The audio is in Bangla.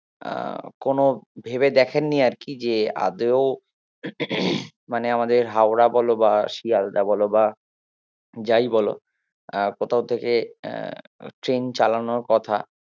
আহ কোনো ভেবে দেখেননি আরকি যে আদেও মানে আমাদের হাওড়া বলো বা শিয়ালদা বলো বা যাই বলো আহ কোথাও থেকে আহ ট্রেন চালানোর কথা